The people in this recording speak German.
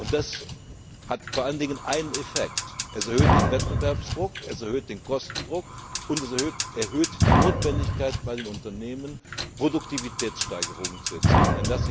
Das hat vor allem den Effekt es erhöht den Wettbewerbsdruck, es erhöht den Kostendruck und es erhöht die Notwendigkeit bei den Unternehmen, Produktivitätssteigerungen zu erzielen.